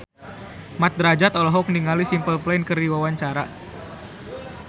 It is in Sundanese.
Mat Drajat olohok ningali Simple Plan keur diwawancara